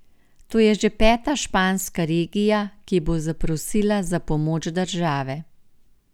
To je že peta španska regija, ki bo zaprosila za pomoč države.